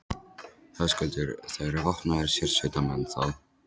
Höskuldur: Það eru vopnaðir sérsveitarmenn, þá?